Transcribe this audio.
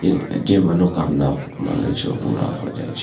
इ जे मनोकामना मांगे छै उ पूरा भ जाय छै।